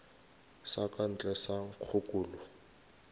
sa ka ntle sa nkgokolo